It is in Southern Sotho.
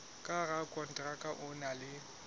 ka rakonteraka o na le